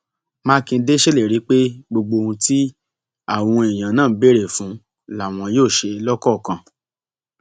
mákindé ṣèlérí pé gbogbo ohun tí àwọn èèyàn náà béèrè fún làwọn yóò ṣe lọkọọkan